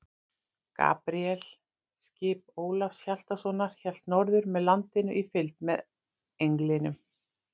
Gabríel, skip Ólafs Hjaltasonar, hélt norður með landinu í fylgd með Englinum.